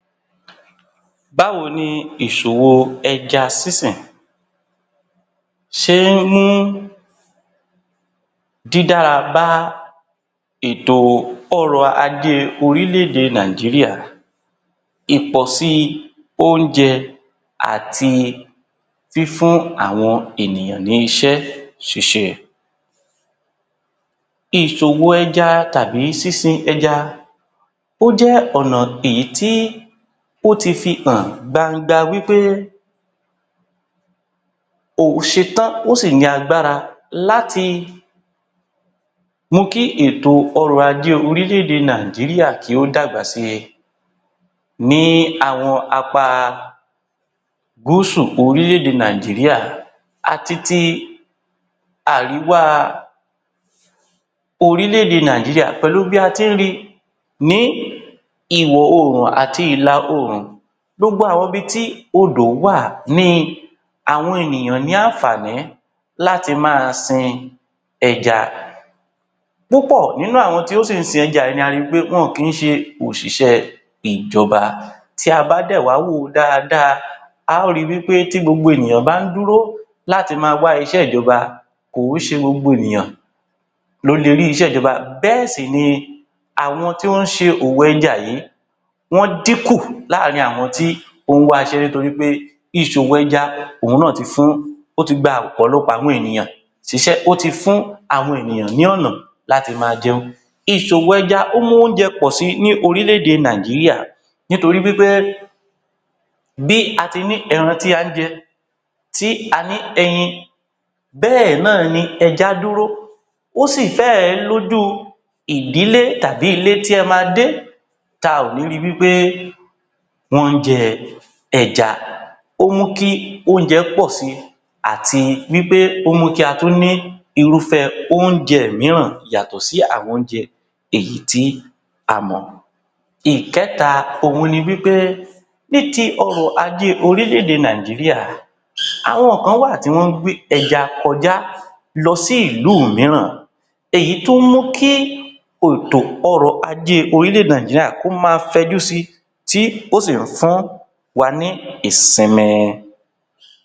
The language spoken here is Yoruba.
Báwo ni ìṣòwò ẹja sísìn? Ṣé ń mú dí dára bá ètò ọrọ̀ ajé orílẹ̀-èdè Nàìjíríà? Ìpọ̀si oúnjẹ àti fífún àwọn ènìyàn ní iṣẹ́ ṣiṣẹ́. Ìṣòwò ẹja tàbí sísin ẹja, ó jẹ́ ọ̀nà èyí tí ó ti fi hàn gbangba wí pé òhún ṣetá, ó sì ní agbára láti mú kí ètò ọrọ̀ ajé orílẹ̀-èdè Nàìjíríà kí ó dàgbà sì ní àwọn apá gúúsù orílẹ̀-èdè Nàìjíríà àti ti àríwá orílẹ̀-èdè Nàìjíríà, pẹ̀lú bí a ti ń rí ní ìwọ̀-oòrùn àti ìlà-oòrùn. Gbogbo àwọn ibi tí odò wà ni àwọn ènìyàn ní àǹfààní láti máa sin ẹja. Púpọ̀ nínú àwọn tí ó sì ń sin ẹja yìí ni a ri pé wọn ò ki ń ṣe òṣìṣẹ ìjọba. Tí a bá dẹ̀ wá wò ó dáadáa, a ó ri wí pé tí gbogbo ènìyàn bá ń dúró láti máa wá iṣẹ́ ìjọba, kò ó ṣe gbogbo ènìyàn ló le rí iṣẹ́ ìjọba. Bẹ́ẹ̀ sì ni àwọn tí wọ́n ń ṣe òwò ẹja yìí, wọ́n dínkù láàárín àwọn tí ó ń wá iṣẹ́ nítorí pé ìṣòwò ẹja òhun náà ti fún ó ti gba ọ̀pọ̀lọpọ̀ àwọn ènìyàn ṣíṣẹ́, ó ti fún àwọn ènìyàn ní ọ̀nà láti máa jẹun. Ìṣòwò ẹja, ó mú oúnjẹ pọ̀ si ní orílẹ̀-èdè Nàìjíríà nítorí wí pé bí a ti ní ẹran tí à ń jẹ, tí a ní ẹyin, bẹ́ẹ̀ náà ni ẹja dúró, ó sì fẹ́ ẹ̀ lójú ìdílé tàbí ilé tí ẹ máa dé ta ò ní ri wí pé wọ́n ń jẹ ẹja. Ó mú kí oúnjẹ pọ̀ si àti wí pé ó mú kí a tún ní irúfẹ́ oúnjẹ mìíràn yàtọ̀ sí àwọn oúnjẹ èyí tí a mọ̀. Ìkẹ́ta, òhun ní wí pé ní ti ọrọ̀ ajé orílẹ̀-èdè Nàìjíríà, àwọn kan wà tí wọ́n ń gbé ẹja kọjá lọ sí ìlú mìíràn, èyí tó mú kí òtò ọrọ̀ ajé orílẹ̀-èdè Nàìjíríà kó máa fẹ́ ju si, tí ó sì ń fún wa ní ìsinmi.